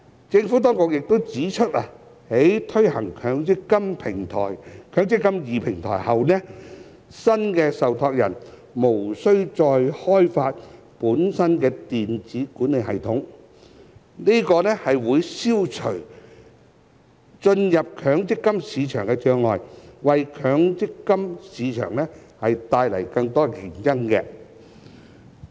政府當局亦指出，在推行"積金易"平台後，新的受託人無需再開發本身的電子管理系統，這將會消除進入強積金市場的障礙，為強積金市場帶來更多競爭。